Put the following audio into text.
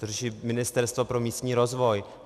To řeší Ministerstvo pro místní rozvoj.